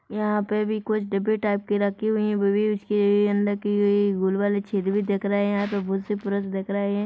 यहाँ पर भी कुछ डिब्बे टाइप के रखे हुए हैं वो भी इसके अंदर के गुलवाले छेद भी दिख रहे हैं बहुत से पुरुस दिख रहे हैं।